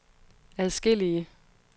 adskillige